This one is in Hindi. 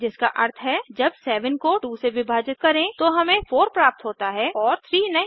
जिसका अर्थ है जब 7 को 2 से विभाजित करें तो हमें 4 प्राप्त होता है और 3 नहीं